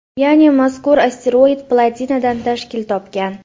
Ya’ni mazkur asteroid platinadan tashkil topgan.